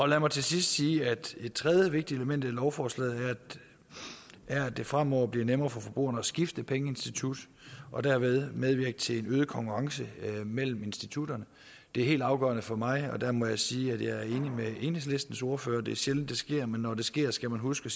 lad mig til sidst sige at et tredje vigtigt element i lovforslaget her er at det fremover bliver nemmere for forbrugerne at skifte pengeinstitut og derved medvirke til en øget konkurrence mellem institutterne det er helt afgørende for mig og der må jeg sige at jeg er enig med enhedslistens ordfører det er sjældent det sker men når det sker skal man huske